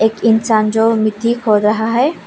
एक इंसान जो मिट्टी खोद रहा है।